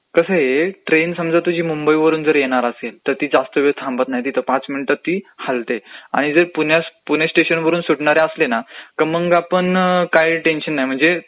कसं आहे, ट्रेन समजा तुझी मुंबईवरून जर येणार असेल तर ती जास्त वेळ थांबत पण नाही पाच मिनिटात ती हलतेचं. आणि जर पुणे स्टेशनवरुन सुटणाऱ्या असली ना मगं आपण काही टेन्शन नाही.